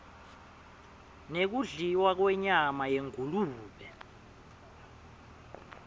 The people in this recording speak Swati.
nekudliwa kwenyama yengulube